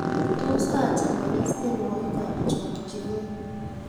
Tos acham agaas tyenwogikab chakchinet